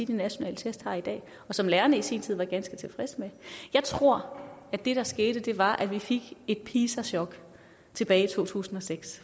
de nationale test har i dag og som lærerne i sin tid var ganske tilfredse med jeg tror at det der skete var at vi fik et pisa chok tilbage i to tusind og seks